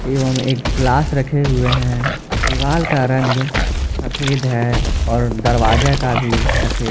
एवम् एक ग्लास रखे हुए है। दिवाल का रंग सफेद है और दरवाजे का भी सफेद--